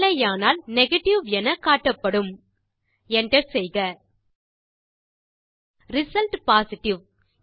இல்லையானால் நெகேட்டிவ் என காட்டப்படும் Enter செய்க ரிசல்ட் பொசிட்டிவ்